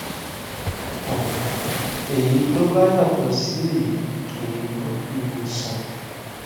um èyí tó bá yàtọ sí èyí kì í gbọ ìwòsàn